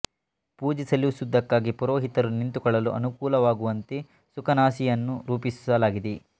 ಪೂಜೆ ಸಲ್ಲಿಸುವುದಕ್ಕಾಗಿ ಪುರೋಹಿತರು ನಿಂತುಕೊಳ್ಳಲು ಅನುಕೂಲವಾಗುವಂತೆ ಸುಖನಾಸಿ ಯನ್ನು ರೂಪಿಸಲಾಗಿದೆ